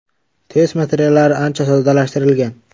Test materiallari ancha soddalashtirilgan.